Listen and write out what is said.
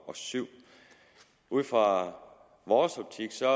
og syv ud fra vores optik ser